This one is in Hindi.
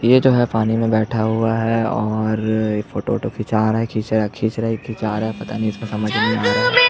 ये जो है पानी में बैठा हुआ है और फोटो वोटो खिचा रहा है खिच रहे यह खिचा रहा है पता नहीं इसका समझ नहीं आ रहा है।